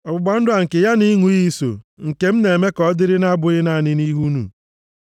Ọgbụgba ndụ a nke ya na ịṅụ iyi so nke m na-eme ka ọ dịrị abụghị naanị nʼihi unu,